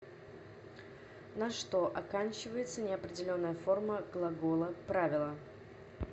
на что оканчивается неопределенная форма глагола правило